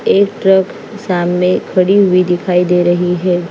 एक ट्रक सामने खड़ी हुई दिखाई दे रही है।